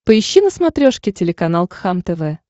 поищи на смотрешке телеканал кхлм тв